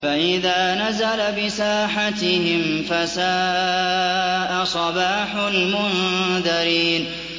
فَإِذَا نَزَلَ بِسَاحَتِهِمْ فَسَاءَ صَبَاحُ الْمُنذَرِينَ